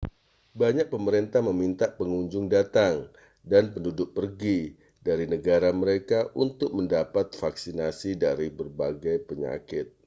banyak pemerintah meminta pengunjung datang dan penduduk pergi dari negara mereka untuk mendapat vaksinasi dari berbagai penyakit